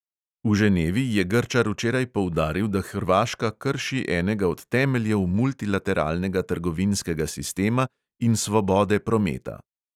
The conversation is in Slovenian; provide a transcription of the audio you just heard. V ženevi je grčar včeraj poudaril, da hrvaška krši enega od temeljev multilateralnega trgovinskega sistema in svobode prometa.